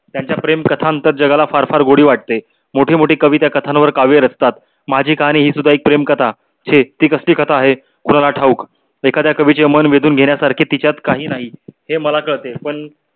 त्यांच्या प्रेम कथांतर जगांना फार फार गोडी वाटते. मोठे मोठे कवि त्यावर कथांवर काव्य रचतात. माझी कहाणी ही सुद्धा एक प्रेम कथा छे ती कसली कथा आहे ठाऊक एखाद्या कवीचे मन वेधून घेण्यासारखे तिच्यात काही नाही हे मला कळते. पण